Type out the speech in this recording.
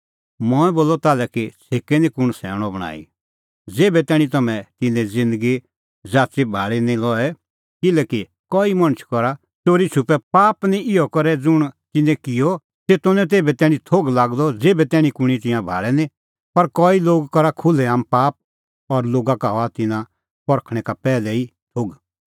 मंऐं बोलअ ताल्है कि छ़ेकै निं कुंण सैणअ बणांईं ज़ेभै तैणीं तम्हैं तिन्नें ज़िन्दगी ज़ाच़ी भाल़ी नां लए किल्हैकि कई मणछ करा च़ोरीछ़ुपै पाप इहअ करै ज़ुंण तिन्नैं किअ तेतो निं तेभै तैणीं थोघ लागदअ ज़ेभै तैणीं तिंयां कुंणी भाल़ै निं पर कई लोग करा खुल्है आम पाप और लोगा का हआ तिन्नां परखणैं का पैहलै ई थोघ